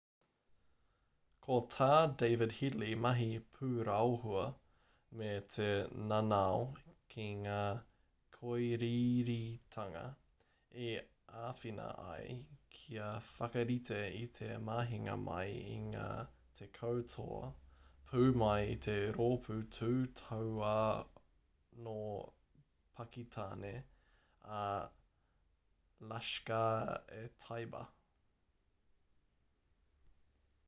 ko tā david headley mahi pūraohua me te nanao ki ngā kōiriiritanga i āwhina ai kia whakarite i te mahinga mai i ngā 10 toa pū mai i te rōpū tū tauā nō pakitāne a laskhar-e-taiba